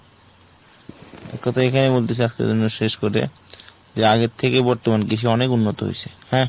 এক কথা এই খানেই বলতেছি আজকের জন্য শেষ করে। যে আগের থেকে বর্তমান কৃষি অনেক উন্নত হয়সে হ্যাঁ